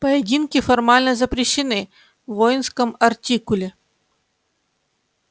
поединки формально запрещены в воинском артикуле